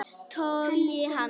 Togi hann.